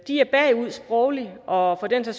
de er bagud sprogligt og der er for